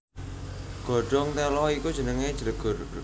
Godhong téla iku jenengé jlegur